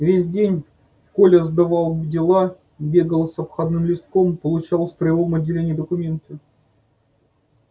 весь день коля сдавал дела бегал с обходным листком получал в строевом отделении документы